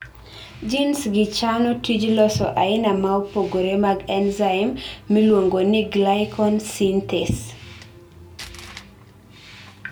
genesgi chano tij loso aina maopogore mag enzyme miluongoni glycogen synthase